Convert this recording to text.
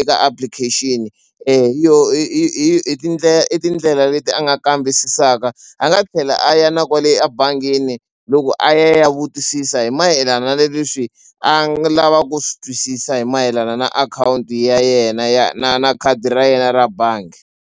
eka application hi yona i i i i tindlela i tindlela leti a nga kambisisaka a nga tlhela a ya na kwale ebangini loko a ya ya vutisisa hi mayelana ni leswi a nga lava ku swi twisisa hi mayelana na akhawunti ya yena ya na na khadi ra yena ra bangi.